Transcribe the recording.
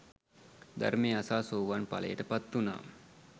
ධර්මය අසා සෝවාන් ඵලයට පත්වුණා